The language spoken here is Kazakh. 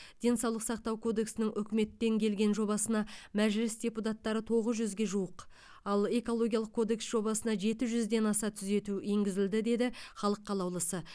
денсаулық сақтау кодексінің үкіметтен келген жобасына мәжіліс депутаттары тоғыз жүзге жуық ал экологиялық кодекс жобасына жеті жүзден аса түзету енгізілді деді халық қалаулысы